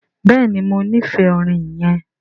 Béèni mọ n'ifẹ orin yén.